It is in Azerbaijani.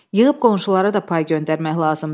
Yığıb qonşulara da pay göndərmək lazımdır.